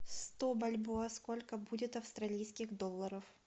сто бальбоа сколько будет австралийских долларов